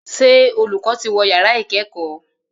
Ṣé olùkọ́ ti wọ yàrá ìkẹ́kọ̀ọ́?